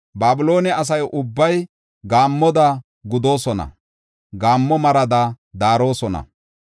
Babiloone asa ubbay gaammoda gudoosona; gaammo marada daarosona.